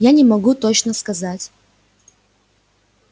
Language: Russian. я не могу точно сказать